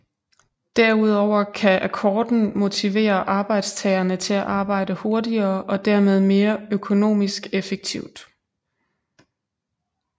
Derudover kan akkorden motivere arbejdstagerne til at arbejde hurtigere og dermed mere økonomisk effektivt